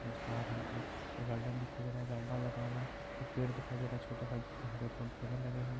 इस पार हमको एक गार्डन दिखाई दे रहा है लगा हुआ है एक पेड़ दिखाई दे रहा है छोटा सा जिसमें हरे पेड़-पौधे लगे हुए हैं।